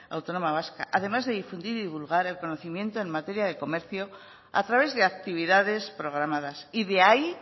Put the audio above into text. autónoma vasca además de difundir y divulgar el conocimiento en materia de comercio a través de actividades programadas y de ahí